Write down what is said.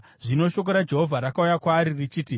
Zvino shoko raJehovha rakauya kwaari richiti,